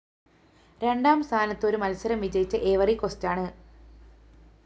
രണ്ടാം സ്ഥാനത്ത്‌ ഒരു മത്സരം വിജയിച്ച ഐവറി കോസ്റ്റാണ്‌